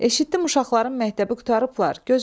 Eşitdim uşaqların məktəbi qurtarıblar.